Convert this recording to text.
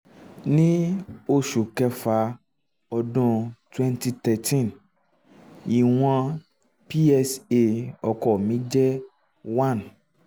ní oṣù um kẹfà ọdún twwnty thirteen ìwọ̀n psa um ọkọ mi jẹ́ one